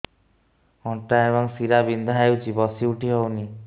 ଅଣ୍ଟା ଏବଂ ଶୀରା ବିନ୍ଧା ହେଉଛି ବସି ଉଠି ହଉନି